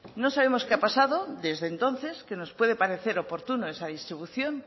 no sabemos qué ha pasado desde entonces que nos puede parecer oportuno esa distribución